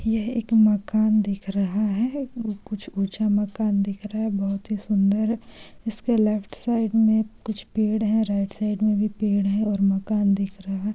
यह एक मकान दिख रहा है कुछ ऊंचा मकान दिख रहा है बहुत ही सुंदर इसके लेफ्ट साइड मे कुछ पेड़ है राइट साइड मे भी पेड़ है और मकान दिख रहा है।